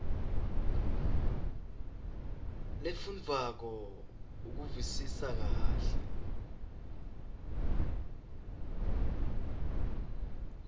lefundvwako ukuvisisa kahle